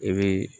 I bɛ